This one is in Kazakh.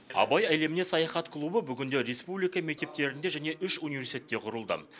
абай әлеміне саяхат клубы бүгінде республика мектептерінде және үш университетте құрылды